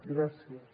gràcies